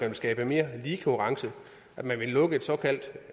vil skabe mere lige konkurrence at man vil lukke et såkaldt